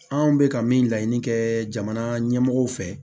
Anw bɛka min laɲini kɛ jamana ɲɛmɔgɔw fɛ